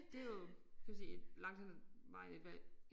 Det jo kan man sige langt hen ad vejen et valg